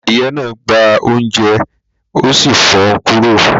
Adìyẹ náà gbá oúnjẹ́ mi, ó sì fò kúrò